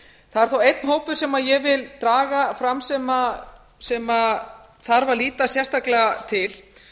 er þó einn hópur sem ég vil draga fram sem þarf að líta sérstaklega til